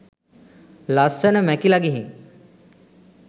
ලස්සන මැකිල ගිහින්.